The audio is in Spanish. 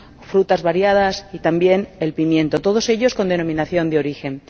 frutas variadas y también el pimiento, todos ellos con denominación de origen.